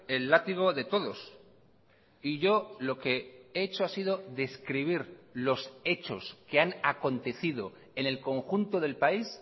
el látigo de todos y yo lo que he hecho ha sido describir los hechos que han acontecido en el conjunto del país